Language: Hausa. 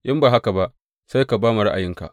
In ba haka ba, sai ka ba mu ra’ayinka.